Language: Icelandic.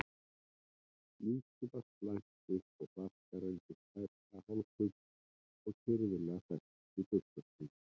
Líkið var slætt upp og flaskan reyndist tæplega hálffull og kirfilega fest í buxnastrenginn.